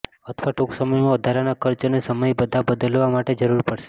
અથવા ટૂંક સમયમાં વધારાના ખર્ચ અને સમય બધા બદલવા માટે જરૂર પડશે